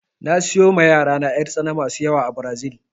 Na siyo ma yarana 'yartsana masu yawa a Brazil